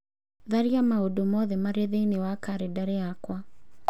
tharia maũndũ mothe marĩa marĩ thĩinĩ wa kalendarĩ yakwa